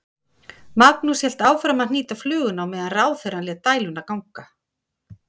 Magnús hélt áfram að hnýta fluguna á meðan ráðherrann lét dæluna ganga.